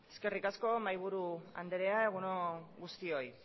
eskerrik asko mahaiburu andrea egun on guztioi